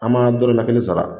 An ma dɔrɔmɛ kelen sara